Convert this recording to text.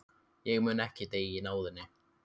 Ég mun ekki deyja í náðinni.